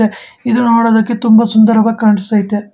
ಇದು ನೋಡೋದಕ್ಕೆ ತುಂಬಾ ಸುಂದರವಾಗಿ ಕಾಣಿಸ್ತೈತೆ.